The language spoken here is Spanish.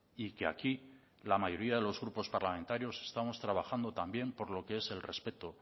y que aquí la mayoría de los grupos parlamentarios estamos trabajando también por lo que es el respeto